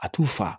A t'u fa